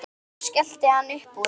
Svo skellti hann upp úr.